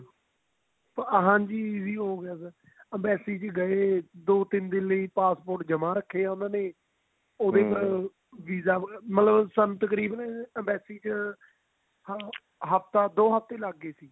ਹਾਂਜੀ easy ਹੋਗਿਆ sir embassy ਚ ਗਏ ਦੋ ਤਿੰਨ ਦਿਨ passport ਜਮਾ ਰੱਖਿਆ ਉਹਨਾ ਨੇ visa ਮਤਲਬ ਤਕਰੀਬਨ ਸਾਨੂੰ embassy ਚ ਦੋ ਮਹੀਨੇ ਲੱਗ ਗਏ ਸੀ